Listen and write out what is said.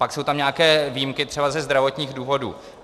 Pak jsou tam nějaké výjimky třeba ze zdravotních důvodů.